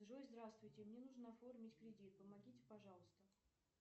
джой здравствуйте мне нужно оформить кредит помогите пожалуйста